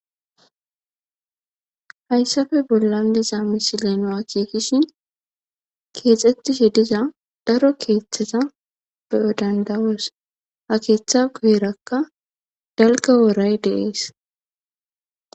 hayssafe bollan diza misileno akiikishin keexxettishe diza daro keeththata beodandawoos ha keeththa guherakka dalga woray deees